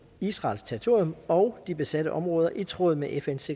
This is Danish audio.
israels territorium og de besatte områder i tråd med fns